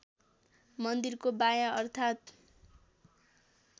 मन्दिरको बायाँ अर्थात्